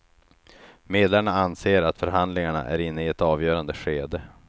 Medlarna anser att förhandlingarna är inne i ett avgörande skede.